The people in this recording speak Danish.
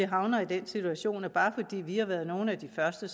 havner i den situation at bare fordi vi har været nogle af de første